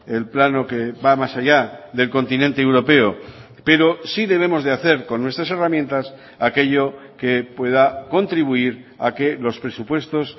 el plano que va más allá del continente europeo pero sí debemos de hacer con nuestras herramientas aquello que pueda contribuir a que los presupuestos